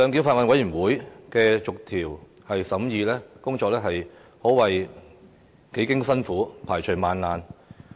法案委員會的逐項審議工作，可謂幾經辛苦，排除萬難。